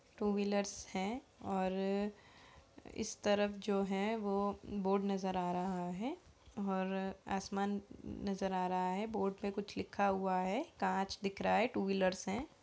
To wheelers हैं और इस तरफ जो है वो बोर्ड नजर आ रहा है और आसमान नजर आ रहा है। बोर्ड पे कुछ लिखा हुआ है। कांच दिख रहा है। टू व्हीलर्स हैं।